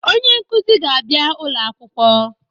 Ee, onye nkuzi ga-abịa ulo akwụkwọ.